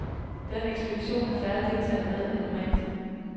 Denne ekspedition har færre deltagere med end normalt.